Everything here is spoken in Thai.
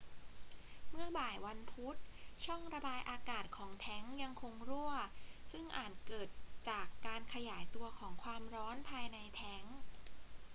เมื่อบ่ายวันพุธ ช่องระบายอากาศของแทงก์ยังคงรั่ว ซึ่งอาจเกิดจากการขยายตัวของความร้อนภายในแทงก์